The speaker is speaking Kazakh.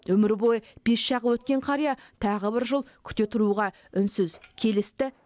өмір бойы пеш жағып өткен қария тағы бір жыл күте тұруға үнсіз келісті